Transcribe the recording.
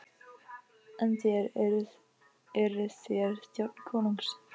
En þér, eruð þér þjónn konungs?